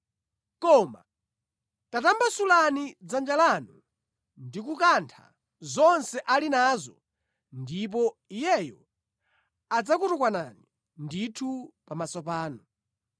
Koma tatambasulani dzanja lanu ndi kukantha zonse ali nazo ndipo iyeyo adzakutukwanani ndithu pamaso panu.”